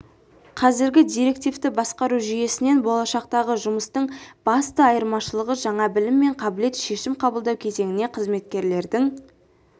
қазіргі директивті басқару жүйесінен болашақтағы жұмыстың басты айырмашылығы жаңа білім мен қабілет шешім қабылдау кезеңіне қызметкерлердің